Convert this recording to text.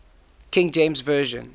king james version